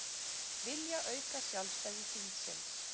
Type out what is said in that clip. Vilja auka sjálfstæði þingsins